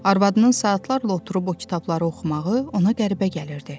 Arvadının saatlarla oturub o kitabları oxumağı ona qəribə gəlirdi.